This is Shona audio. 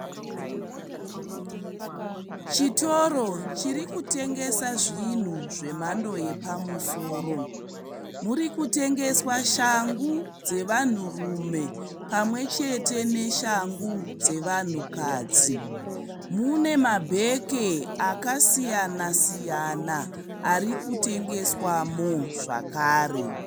Chitoro chiri kutengesa zvinhu zvemhando yepamusoro. Muri kutengeswa shangu dzevanhurume pamwe chete neshangu dzevanhukadzi. Mune mabheke akasiyana siyana ari kutengeswamo zvakare.